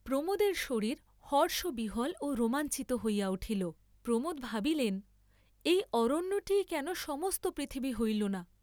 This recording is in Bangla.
প্রমোদের শরীর হর্ষবিহ্বল ও রোমাঞ্চিত হইয়া উঠিল, প্রমোদ ভাবিলেন এই অরণ্যটিই কেন সমস্ত পৃথিবী হইল না?